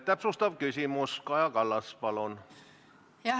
Täpsustav küsimus, Kaja Kallas, palun!